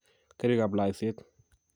karikab laiset